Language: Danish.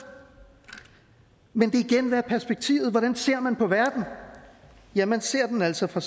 men igen hvad er perspektivet hvordan ser man på verden ja man ser den altså fra